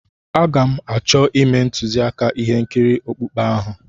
Aga m achọ ime ntuziaka ihe nkiri okpukpe ahụ.